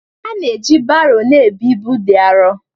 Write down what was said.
Ana-eji baro na-ebu ibu dị arọ.